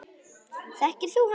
Þekkir þú hann?